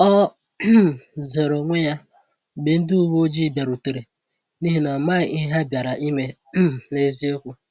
O um zeere onwe ya mgbe ndị uwe ojii bịarutere, n’ihi na ọ maghị ihe ha bịara ime um n’eziokwu.